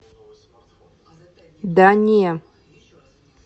да не